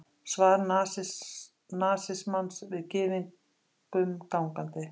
Svar nasismans við gyðingnum gangandi!